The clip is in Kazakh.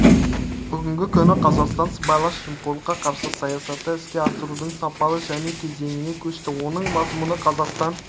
бүгінгі күні қазақстан сыбайлас жемқорлыққа қарсы саясатты іске асырудың сапалы жаңа кезеңіне көшті оның мазмұны қазақстан